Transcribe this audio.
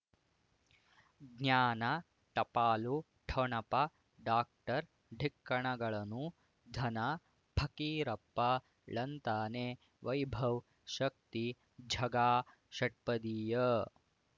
ಜ್ಞಾನ ಟಪಾಲು ಠೊಣಪ ಡಾಕ್ಟರ್ ಢಿಕ್ಕ ಣಗಳನು ಧನ ಫಕೀರಪ್ಪ ಳಂತಾನೆ ವೈಭವ್ ಶಕ್ತಿ ಝಗಾ ಷಟ್ಪದಿಯ